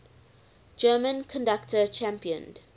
german conductor championed